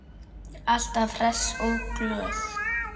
Alltaf hress og glöð.